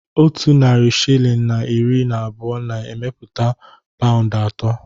Otu narị shilling na iri na abụọ na-emepụta e paụnd atọ